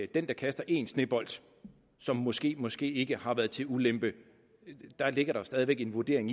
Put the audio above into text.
den der kaster en snebold som måskemåske ikke har været til ulempe der ligger jo stadig væk en vurdering